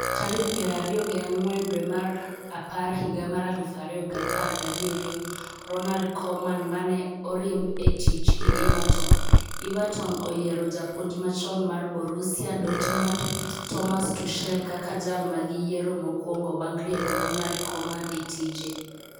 tarik piero ariyo gi ang'wen dwe mar apar higa mar aluf ariyo gi apar gi abiriyo Ronald Koeman ma ne oriemb e tich gi Everton Everton oyiero japuonj machon mar Borussia Dortmund, Thomas Tuchel kaka jal magiyiero mokwongo bang' riembo Ronald Koeman e tije.